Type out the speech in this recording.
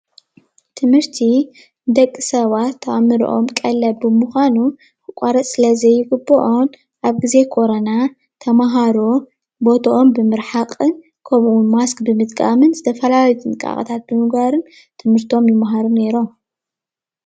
ትምህርቲ ንደቂ ሰባት ኣእምሮኦም ቀለብ ብምኳኑ ክቋረፅ ስለ ዘይግቦኦ ኣብ ግዜ ኮረና ተማሃሮ ቦቶኦም ብምርሓቅን ከሙኡ እዉን ማስክ ብምጥቃምን ዝተፈላለዩ ጥንቃቄ ብምግባርን ትምህርቶም ይማሃሩ ኔሮም።